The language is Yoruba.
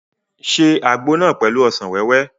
Ṣe àgbo náà pẹ̀lú ọsàn wẹ́wẹ́!